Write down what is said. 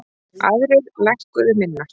Aðrir lækkuðu minna.